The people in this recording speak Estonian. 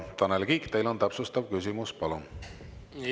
Tanel Kiik, teil on täpsustav küsimus, palun!